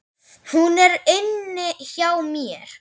Hún er inni hjá mér.